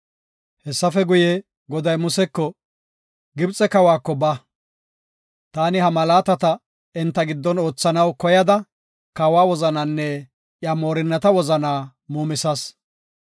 Hessafe guye, Goday Museko, “Gibxe kawako ba. Taani ha malaatata enta giddon oothanaw koyada kawa wozanaanne iya moorinnata wozana muumisas.